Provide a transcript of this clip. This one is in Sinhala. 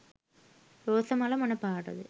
රෝස මල මොන පාට ද?